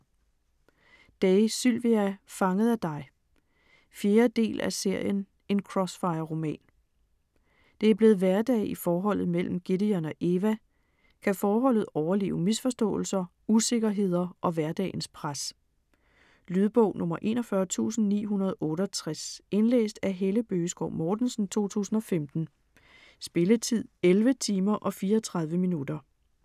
Day, Sylvia: Fanget af dig 4. del af serien En Crossfire-roman. Det er blevet hverdag i forholdet mellem Gideon og Eva. Kan forholdet overleve misforståelser, usikkerheder og hverdagens pres? Lydbog 41968 Indlæst af Helle Bøgeskov Mortensen, 2015. Spilletid: 11 timer, 34 minutter.